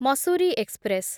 Mussoorie express